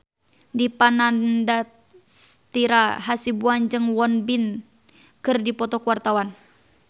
Dipa Nandastyra Hasibuan jeung Won Bin keur dipoto ku wartawan